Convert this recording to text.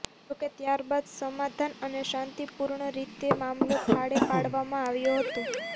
જોકે ત્યારબાદ સમાધાન અને શાંતિપૂર્ણ રીતે મામલો થાળે પાડવામાં આવ્યો હતો